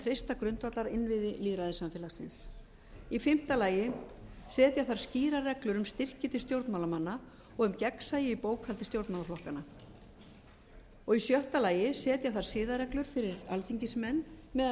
treysta grundvallarinnviði lýðræðissamfélagsins fimmta setja þarf skýrar reglur um styrki til stjórnmálamanna og um gegnsæi í bókhaldi stjórnmálaflokkanna sjötta setja þarf siðareglur fyrir alþingismenn meðal